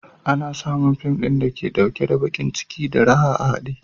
Ana samun fin ɗin da yake ɗauke da baƙin ciki da raha a haɗe.